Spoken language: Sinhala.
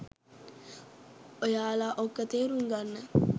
ඔයාල ඕක තේරුම් ගන්න